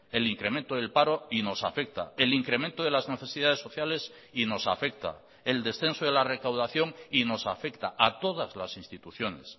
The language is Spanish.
el incremento del paro y nos afecta el incremento de las necesidades sociales y nos afecta el descenso de la recaudación y nos afecta a todas las instituciones